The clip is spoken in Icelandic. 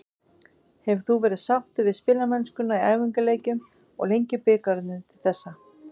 Hefur þú verið sáttur við spilamennskuna í æfingaleikjum og Lengjubikarnum til þessa?